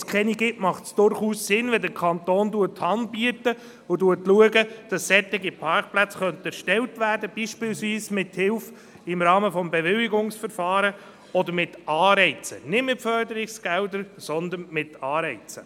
Dort, wo es keine gibt, macht es durchaus Sinn, wenn der Kanton Hand bietet und schaut, dass solche Parkplätze erstellt werden könnten, beispielsweise durch Hilfe im Rahmen des Bewilligungsverfahrens oder mit Anreizen, nicht mit Förderungsgeldern, sondern mit Anreizen.